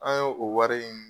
An ye o wari in